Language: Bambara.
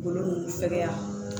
Golo b'u fɛkɛya